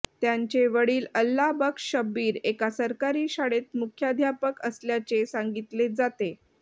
त्यांचे वडील अल्लाह बक्श शब्बीर एका सरकारी शाळेत मुख्याध्यापक असल्याचे सांगितले जाते